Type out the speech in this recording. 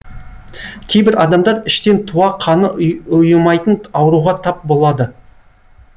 кейбір адамдар іштен туа қаны ұйымайтын ауруға тап болады